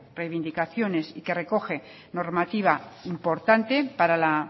reivindicaciones que recoge normativa importante para la